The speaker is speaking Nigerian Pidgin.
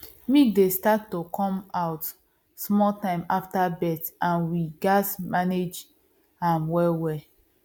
milk dey start to come out small time after birth and we gatz manage am well well